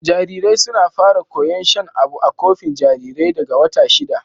Jarirai suna fara koyar shan abu a kofi jarirai daga wata shida.